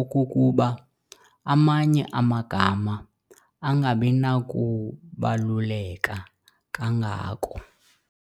okokuba amanye amagama angabinakubaluleka kangako.